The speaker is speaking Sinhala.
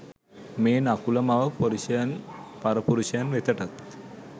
මේ නකුල මව පරපුරුෂයන් වෙතටත්